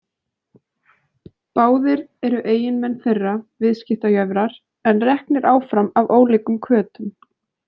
Báðir eru eiginmenn þeirra viðskiptajöfrar en reknir áfram af ólíkum hvötum.